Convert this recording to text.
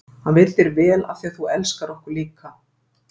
Hann vill þér vel af því að þú elskar okkur líka.